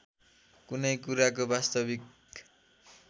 कुनै कुराको वास्तविक